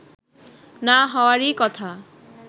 না হওয়ারই কথা